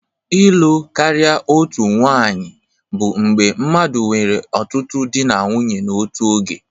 Ịlụ karịa otu nwanyị bụ mgbe mmadụ nwere ọtụtụ di na nwunye n'otu oge.